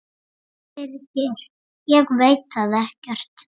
Birgir: Ég veit það ekkert.